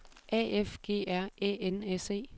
A F G R Æ N S E